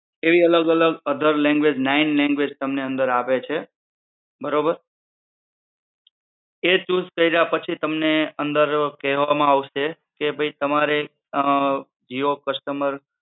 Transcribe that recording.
એવી અલગ અલગ અધર લેન્ગુએજ઼ નાઈન લેન્ગુએજ઼ તમને અંદર આવે છે બરોબર એ ચૂઝ કૈરા પછી તમને અંદર કેહવા માં આવશે કે ભઈ તમારે અમ જીઓ કસ્ટમર